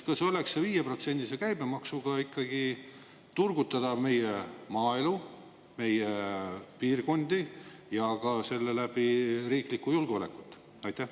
Kas oleks see 5%-se käibemaksuga ikkagi turgutada meie maaelu, meie piirkondi ja ka selle läbi riiklikku julgeolekut?